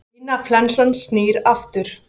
Svínaflensan snýr aftur